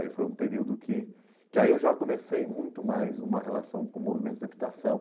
Aí foi um período que que eu já comecei muito mais uma relação com o movimento de.